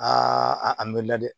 a mɛnna dɛ